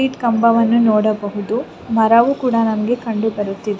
Street ಕಂಬವನ್ನು ನೋಡಬಹುದು ಮರವು ಕೂಡ ನಮಗೆ ಕಂಡು ಬರುತ್ತಿದೆ .